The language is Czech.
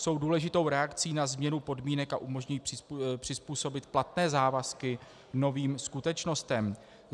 Jsou důležitou reakcí na změnu podmínek a umožňují přizpůsobit platné závazky novým skutečnostem.